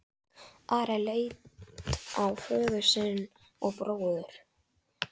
Ari leit á föður sinn og bróður.